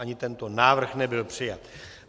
Ani tento návrh nebyl přijat.